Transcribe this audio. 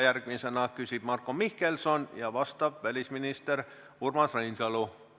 Järgmisena küsib Marko Mihkelson ja vastab välisminister Urmas Reinsalu.